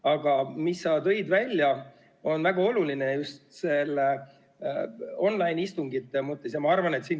Aga sa tõid välja, et online-istungid on väga olulised.